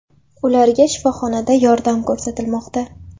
Ularga shifoxonada yordam ko‘rsatilmoqda.